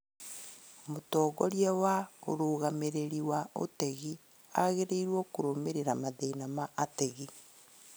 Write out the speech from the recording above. Mũtongoria wa ũrũgamĩrĩri wa utegi agĩrĩirwo kũrũmĩrĩra mathĩna ma ategi